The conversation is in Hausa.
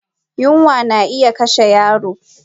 Yunwa na iya kashe yaro